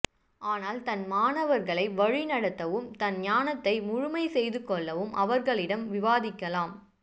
ஆனால் தன் மாணவர்களை வழிநடத்தவும் தன் ஞானத்தை முழுமைசெய்துகொள்ளவும் அவர்களிடம் விவாதிக்கலாம்